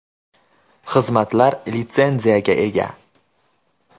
Xizmatlar litsenziyaga ega.